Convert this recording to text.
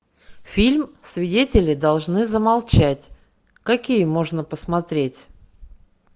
фильм свидетели должны замолчать какие можно посмотреть